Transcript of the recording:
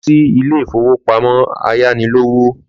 Lọ sí ilé ìfowópamọ́ ayánilówó.